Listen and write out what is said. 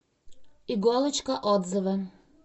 иголочка отзывы